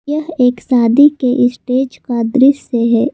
यह एक शादी के स्टेज का दृश्य है।